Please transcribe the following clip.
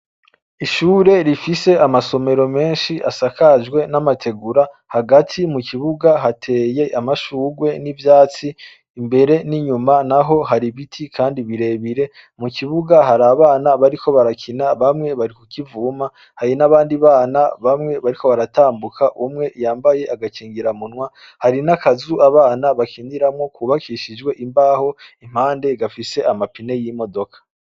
Ishure rifise amasomero menshi asakajwe n'amategura hagati mu kibuga hateye amashurwe n'ivyatsi imbere n'inyuma na ho hari ibiti, kandi birebire mu kibuga hari abana bariko barakina bamwe bari kukivuma hari n'abandi bana bamwe bariko baratambuka umwe yambaye agakingira munwa hari n'akazu abana bakiniramwo kubakishijwe imbaho impande gafise amapine y'imodoka.